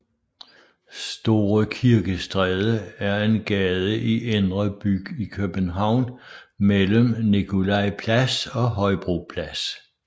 Store Kirkestræde er en gade i Indre By i København mellem Nikolaj Plads og Højbro Plads